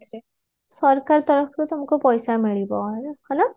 ସରକାର ତରଫରୁ ତମକୁ ପଇସା ମିଳିବ ହେଲା